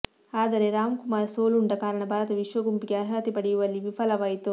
ಆದರೆ ರಾಮ್ಕುಮಾರ್ ಸೋಲುಂಡ ಕಾರಣ ಭಾರತ ವಿಶ್ವ ಗುಂಪಿಗೆ ಅರ್ಹತೆ ಪಡೆಯುವಲ್ಲಿ ವಿಫಲವಾಯಿತು